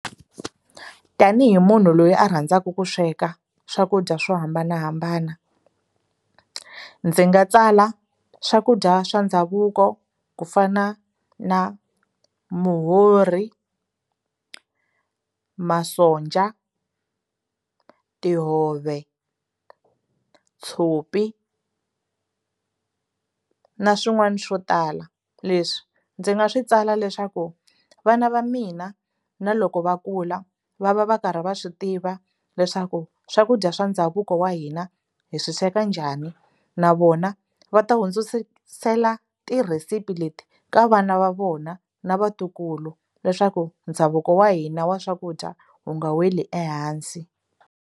Tanihi munhu loyi a rhandzaka ku sweka swakudya swo hambanahambana ndzi nga tsala swakudya swa ndhavuko ku fana na muhorhi masonja tihove tshopi na swin'wana swo tala leswi ndzi nga swi tsala leswaku vana va mina na loko va kula va va va karhi va swi tiva leswaku swakudya swa ndhavuko wa hina hi swi sweka njhani na vona va ta hundzisela tirhisipi leti ka vana va vona na vatukulu leswaku ndhavuko wa hina wa swakudya wu nga weli ehansi.